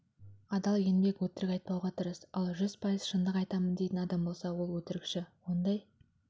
адал еңбек өтірік айтпауға тырыс ал жүз пайыз шындық айтамын дейтін адам болса ол өтірікші ондай